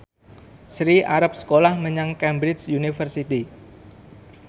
Sri arep sekolah menyang Cambridge University